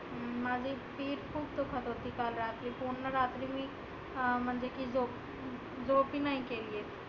माझी पिट खुप दुखत होती काल रात्री. पुर्ण रात्री मी अं म्हणजे की झोप झोप बी नाही केलीए.